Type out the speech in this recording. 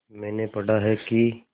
मैंने पढ़ा है कि